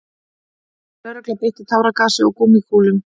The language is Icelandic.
Lögregla beitti táragasi og gúmmíkúlum